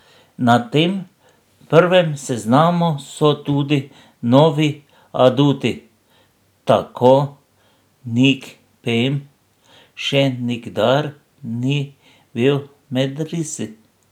Na tem prvem seznamu so tudi novi aduti, tako Nik Pem še nikdar ni bil med risi.